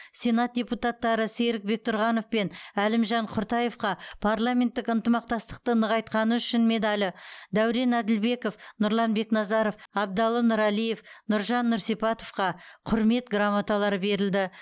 сенат депутаттары серік бектұрғанов пен әлімжан құртаевқа парламенттік ынтымақтастықты нығайтқаны үшін медалі дәурен әділбеков нұрлан бекназаров абдалы нұралиев нұржан нұрсипатовқа құрмет грамоталары берілді